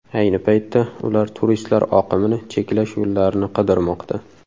Ayni paytda ular turistlar oqimini cheklash yo‘llarini qidirmoqda.